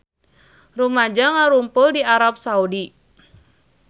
Rumaja ngarumpul di Arab Saudi